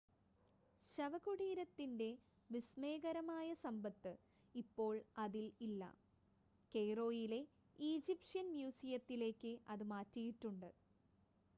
ശവകുടീരത്തിൻ്റെ വിസ്‌മയകരമായ സമ്പത്ത് ഇപ്പോൾ അതിൽ ഇല്ല കെയ്‌റോയിലെ ഈജിപ്ഷ്യൻ മ്യൂസിയത്തിലേക്ക് അത് മാറ്റിയിട്ടുണ്ട്